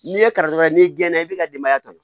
N'i ye karitɔn ye n'i gɛnna i b'i ka denbaya ta